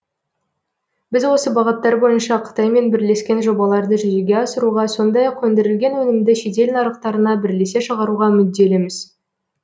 біз осы бағыттар бойынша қытаймен бірлескен жобаларды жүзеге асыруға сондай ақ өндірілген өнімді шетел нарықтарына бірлесе шығаруға мүдделіміз